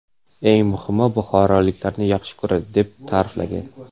Eng muhimi, buxoroliklarni yaxshi ko‘radi”, deb ta’riflagan.